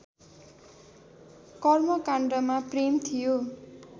कर्मकाण्डमा प्रेम थियो